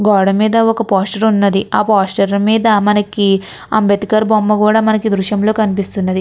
గోడ మిద మనకు ఇక్కడ కనిపెస్తునది పోస్టర్ కనిపెస్త్గునది ఇక్కడ మనకు ఇక్కడ అబ్సేహ్టర్ బూమ కుడా మనకు ఎ ద్రుశము లో కనిపొఎస్తునది.